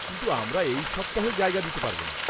-কিন্তু আমরা এই সপ্তাহে জায়গা দিতে পারবোনা।